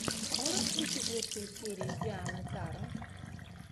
можешь включить лучшую серию тианы таро